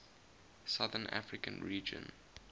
southern african region